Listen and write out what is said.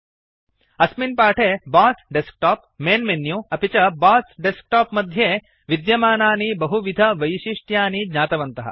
अस्मिन् पाठे BOSS desktop main menu अपि च बॉस डेस्कटॉप मध्ये विद्यमानानि बहुविधवैशिष्ट्यानि ज्ञातवन्तः